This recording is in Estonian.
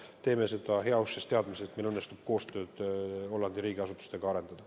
Ja me teeme seda heauskses teadmises, et meil õnnestub Hollandi riigiasutustega koostööd arendada.